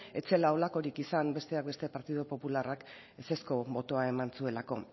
ez zela holakorik izan besteak beste partido popularrak ezezko botoa eman zuelako